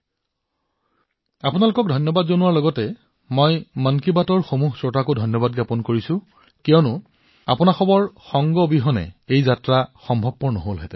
মোৰ তৰফৰ পৰাও আপোনালোকক ধন্যবাদ জনাইছোৱেই লগতে মন কী বাতৰ সকলো শ্ৰোতালৈ কৃতজ্ঞতা জনাইছো কিয়নো এই যাত্ৰা আপোনালোকৰ অবিহনে সম্ভৱ নাছিল